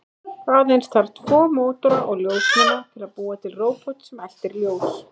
Aðeins þarf tvo mótora og ljósnema til að búa til róbot sem eltir ljós.